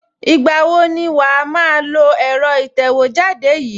Ìgbà wo ni wàá máa lo ẹ̀rọ ìtẹ̀wẹ́jáde yìí?